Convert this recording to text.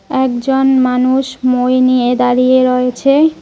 একজন মানুষ মই নিয়ে দাঁড়িয়ে রয়েছে।